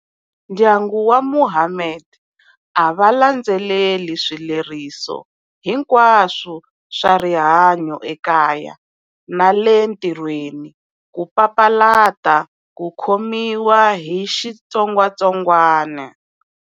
Ndyangu wa Mohammed a va landzelela swileriso hinkwaswo swa rihanyo ekaya na le ntirhweni, ku papalata ku khomiwa hi xitsongwatsongwana.